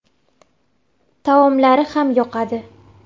Taomlari ham yoqadi.